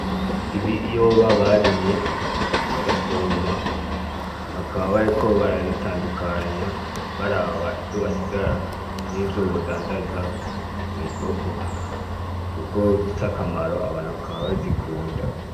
Ibiyoba barimye bagasoroma bakaba bariko barabitandukanya baraba ivyo basigarana n'ivyo bodandaza mw'isoko kuko bifise akamaro abantu bakaba bazikunda.